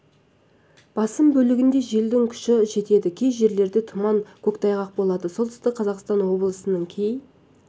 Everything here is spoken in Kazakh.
басым бөлігінде желдің күші жетеді кей жерлерде тұман көктайғақ болады солтүстік қазақстан облысының кей